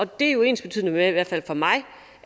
det er jo ensbetydende med i hvert fald for mig